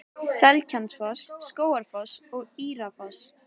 Seljalandsfoss, Skógafoss og Írárfoss.